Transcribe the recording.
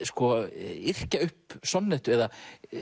yrkja upp sonnettu eða